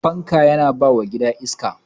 fanka Yana bawa gida iska